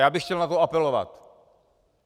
Já bych chtěl na to apelovat.